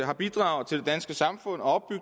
har bidraget til det danske samfund og